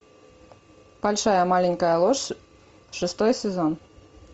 большая маленькая ложь шестой сезон